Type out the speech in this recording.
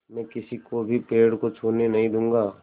मैं किसी को भी पेड़ को छूने भी नहीं दूँगा